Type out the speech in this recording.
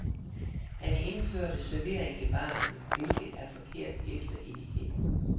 Han indførte servering i baren, hvilket er forkert efter etiketten.